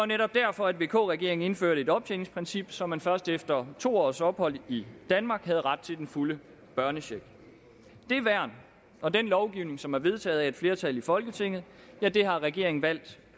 netop derfor at vk regeringen indførte et optjeningsprincip så man først efter to års ophold i danmark havde ret til den fulde børnecheck det værn og den lovgivning som er vedtaget af et flertal i folketinget har regeringen valgt